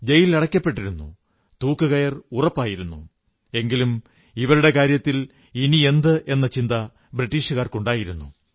ജയലിലടയ്ക്കപ്പെട്ടിരുന്നു തൂക്കുകയർ ഉറപ്പായിരുന്നു എങ്കിലും ഇവരുടെ കാര്യത്തിൽ ഇനിയെന്ത് എന്ന ചിന്ത ബ്രിട്ടീഷുകാർക്കുണ്ടായിരുന്നു